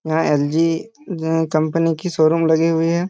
यहां LG. Company के showroom लगी हुई है।